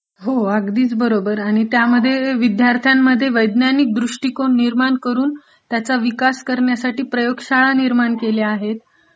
हो अगदीचं बरोबर आहे. त्यामध्ये विद्यार्थांमध्ये वैद्यानिक दृष्टीकोन निर्माण करून त्याचा विकास करण्यासाठी प्रयोगशाळा निर्माण केल्या आहेत.